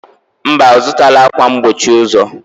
Mba, ọzụtala akwa mgbochi ụzọ.